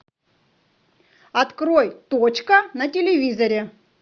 открой точка на телевизоре